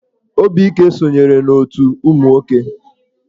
Obike sonyere n'otù ụmụ nwoke.